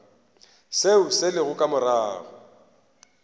seo se lego ka morago